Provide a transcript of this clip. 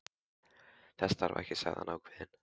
Þess þarf ekki, sagði hann ákveðinn.